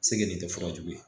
Segenen tɛ fɔlɔ jugu ye